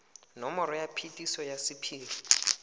nomoro ya phetiso ya sephiri